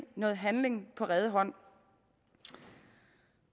noget handling på rede hånd